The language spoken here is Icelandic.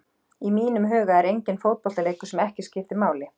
Í mínum huga er enginn fótboltaleikur sem skiptir ekki máli.